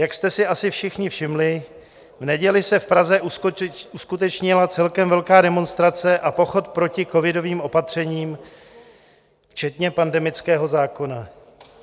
Jak jste si asi všichni všimli, v neděli se v Praze uskutečnila celkem velká demonstrace a pochod proti covidovým opatřením včetně pandemického zákona.